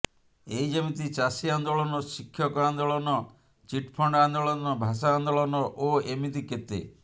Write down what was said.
ଏଇ ଯେମିତି ଚାଷୀ ଆନ୍ଦୋଳନ ଶିକ୍ଷକ ଆନ୍ଦୋଳନ ଚିଟ୍ଫଣ୍ଡ୍ ଆନ୍ଦୋଳନ ଭାଷା ଆନ୍ଦୋଳନ ଓ ଏମିତି କେତେ